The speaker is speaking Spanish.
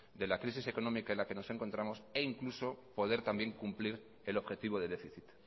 de la crisis económica en la que nos encontramos e incluso poder también cumplir el objetivo de déficit